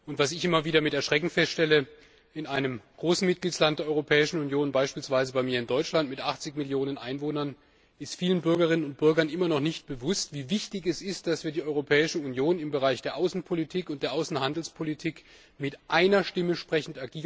Ich stelle immer wieder mit Erschrecken fest, dass in einem großen Mitgliedstaat der Europäischen Union beispielsweise in Deutschland mit 80 Millionen Einwohnern vielen Bürgerinnen und Bürgern immer noch nicht bewusst ist, wie wichtig es ist, dass die Europäische Union im Bereich der Außenpolitik und der Außenhandelspolitik mit einer Stimme spricht.